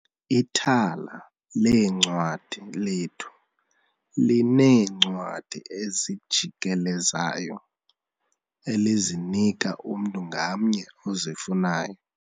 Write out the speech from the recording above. Ithala leencwadi lethu lineencwadi ezijikelezayo elizinika umntu ngamnye ozifunayo.